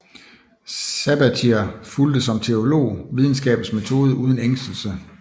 Sabatier fulgte som teolog videnskabens metode uden ængstelse